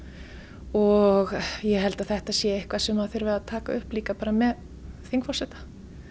og ég held að þetta sé eitthvað sem þurfi að taka upp líka bara með þingforseta